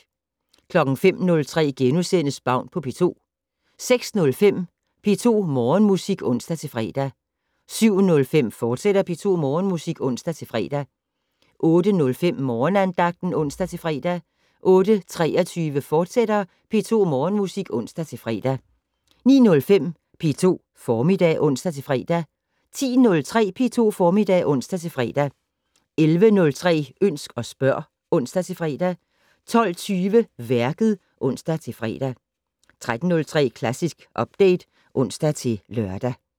05:03: Baun på P2 * 06:05: P2 Morgenmusik (ons-fre) 07:05: P2 Morgenmusik, fortsat (ons-fre) 08:05: Morgenandagten (ons-fre) 08:23: P2 Morgenmusik, fortsat (ons-fre) 09:05: P2 Formiddag (ons-fre) 10:03: P2 Formiddag (ons-fre) 11:03: Ønsk og spørg (ons-fre) 12:20: Værket (ons-fre) 13:03: Klassisk Update (ons-lør)